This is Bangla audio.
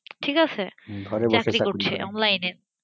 ঠিক আছে। চাকরি করছে online এ